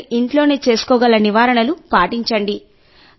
మీరు ఇంట్లోనే చేసుకోగల నివారణలు పాటించండి